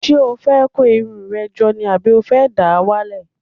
Ṣé o fẹ́ kó irun rẹ jọ ni àbí o fẹ́ dà á wálẹ̀?